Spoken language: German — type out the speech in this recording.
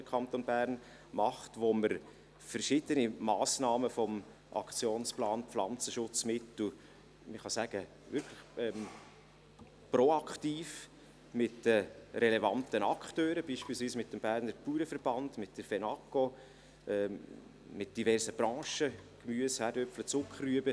Beim Aktionsplan Pflanzenschutzmittel arbeiten wir bei verschiedenen Massnahmen, man kann sagen, wirklich proaktiv mit den relevanten Akteuren zusammen, beispielsweise mit dem Berner Bauernverband, mit der Fenaco, mit diversen Branchen, wie Gemüse, Kartoffeln, Zuckerrüben.